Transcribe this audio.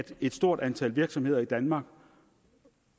et stort antal virksomheder i danmark